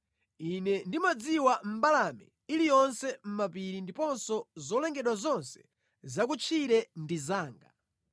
Ine ndimadziwa mbalame iliyonse mʼmapiri ndiponso zolengedwa zonse zakutchire ndi zanga.